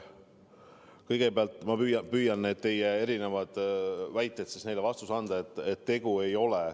Kõigepealt püüan teie erinevatele väidetele vastuse anda.